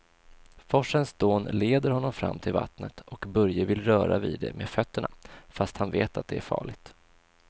Forsens dån leder honom fram till vattnet och Börje vill röra vid det med fötterna, fast han vet att det är farligt.